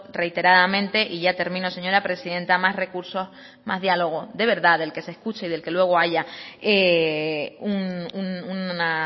reiteradamente y ya termino señora presidenta más recursos y más diálogo de verdad del que se escucha y luego haya una